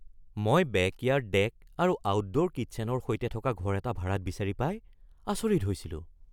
মই backyard deck আৰু outdoor কিটছেনৰ সৈতে থকা ঘৰ এটা ভাড়াত বিচাৰি পাই আচৰিত হৈছিলো।